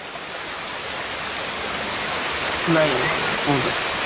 ନାଇଁ କୁହନ୍ତୁ